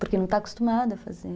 Porque não está acostumado a fazer.